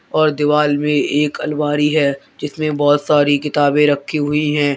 और दीवाल में एक अलमारी है जिसमें बहुत सारी किताबें रखी हुई है।